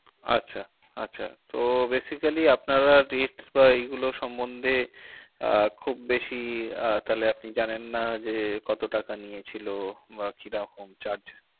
আচ্ছা। আছা। তো basically আপনারা rate বা এই গুলো সম্বন্ধে আহ খুব বেশি আহ তাহলে আপনি জানেন না যে, কত টাকা নিয়েছিল বা কীরকম charge ।